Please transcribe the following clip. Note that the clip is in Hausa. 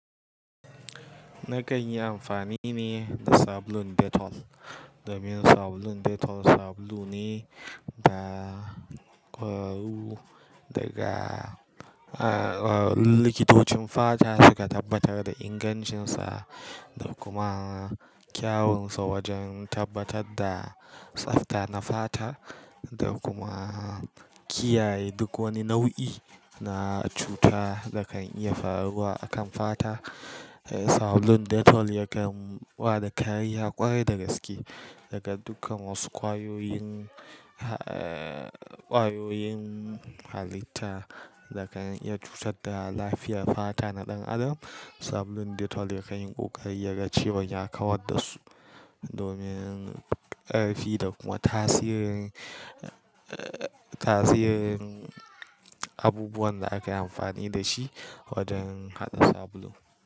Na kan yi amfani ne da sabulun Dettol. Domin sabulun Dettol sabulu ne da, eh, daga, eh, eh, likitocin fata suka tabbatar da ingancinsa da kuma kyawunsa wajen tabbatar da tsafta na fata da kuma kiyaye duk wani nau'i na cuta da kan iya faruwa a kan fata. Eh, sabulun Dettol yakan ba da kariya ƙwarai da gaske daga dukkan wasu ƙwayoyin, eh, ƙwayoyin halitta da kan iya cutar da lafiyar fata na ɗan adam. Sabulun Dettol yakan yi ƙoƙari ya ga cewa ya kawar da su domin karfi da kuma tasirin, eh, tasirin abubuwan da aka yi amfani da shi waɗannan sabulu.